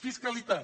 fiscalitat